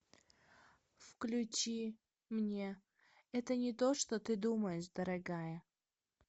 включи мне это не то что ты думаешь дорогая